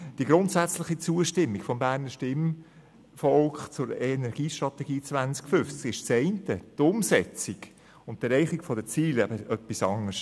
Die grundsätzliche Zustimmung des Berner Stimmvolks zur Energiestrategie 2050 ist das eine, die Umsetzung und die Erreichung der Ziele etwas anderes.